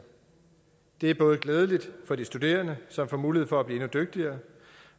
det er både glædeligt for de studerende som får mulighed for at blive endnu dygtigere